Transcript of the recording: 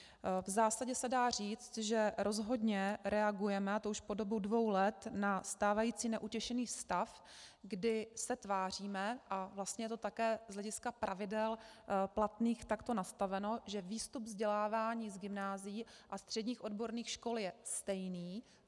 V zásadě se dá říct, že rozhodně reagujeme, a to už po dobu dvou let, na stávající neutěšený stav, kdy se tváříme, a vlastně je to také z hlediska pravidel platných takto nastaveno, že výstup vzdělávání z gymnázií a středních odborných škol je stejný.